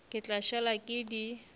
ke tla šala ke di